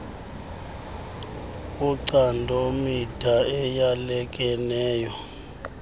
wocando mida eyalekeneyo